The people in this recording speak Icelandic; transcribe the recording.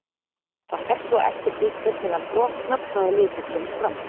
Það fer svo eftir því hvernig hann brotnar hvaða litur kemur fram.